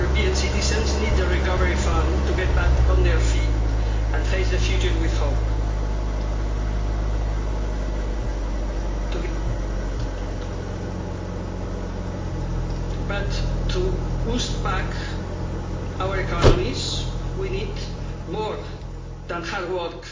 European citizens need the Recovery Fund to get back on their feet and face the future with hope, but to boost back our economies, we need more than hard work